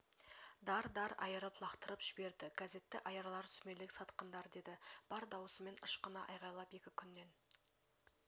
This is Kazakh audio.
дар-дар айырып лақтырып жіберді газетті аярлар сүмелек сатқындар деді бар дауысымен ышқына айғайлап екі күннен